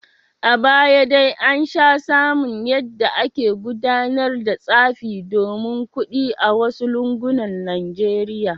A baya dai an sha samun yadda ake gudanar da tsafi domin kudi a wasu lungunan Najeriya.